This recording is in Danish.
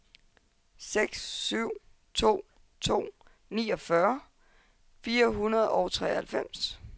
seks syv to to niogfyrre fire hundrede og treoghalvfems